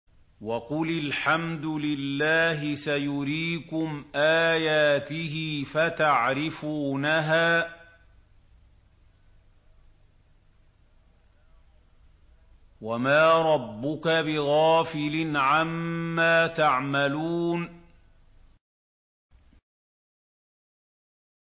وَقُلِ الْحَمْدُ لِلَّهِ سَيُرِيكُمْ آيَاتِهِ فَتَعْرِفُونَهَا ۚ وَمَا رَبُّكَ بِغَافِلٍ عَمَّا تَعْمَلُونَ